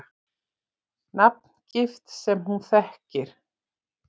Nafngift sem hún þekkir.